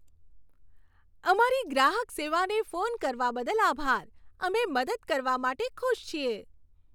અમારી ગ્રાહક સેવાને ફોન કરવા બદલ આભાર. અમે મદદ કરવા માટે ખુશ છીએ.